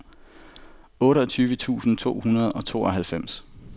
otteogtyve tusind to hundrede og tooghalvfems